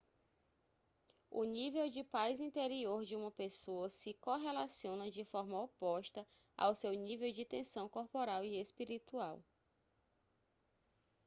o nível de paz interior de uma pessoa se correlaciona de forma oposta ao seu nível de tensão corporal e espiritual